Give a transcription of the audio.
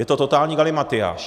Je to totální galimatyáš.